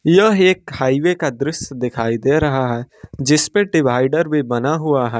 यह एक हाईवे का दृश्य दिखाई दे रहा है जिस पे डिवाइडर भी बना हुआ है।